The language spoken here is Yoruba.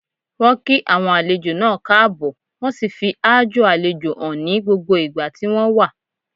Wọ́n kí àwọn àjèjì náà káàbọ̀, wọ́n sì fi aájò àlejò hàn ní gbogbo ìgbà tí wọ́n wà.